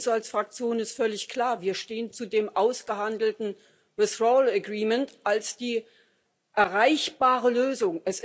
Für uns als Fraktion ist völlig klar Wir stehen zu dem ausgehandelten Austrittsabkommen als der erreichbaren Lösung.